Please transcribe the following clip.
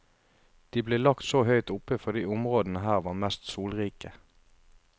De ble lagt så høyt oppe fordi områdene her var mest solrike.